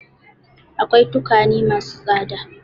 Akwai tukwane ma su tsada.